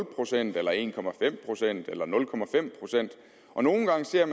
procent eller en procent eller nul procent og nogle gange ser